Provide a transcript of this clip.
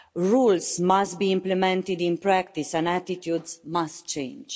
Rules must be implemented in practice and attitudes must change.